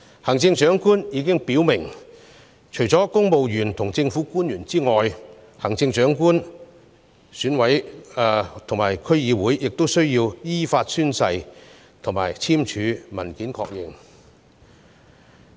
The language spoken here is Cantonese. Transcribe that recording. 行政長官已表明，除了公務員及政府官員外，行政長官選舉委員會及區議會成員亦需要依法宣誓，以及簽署文件確認。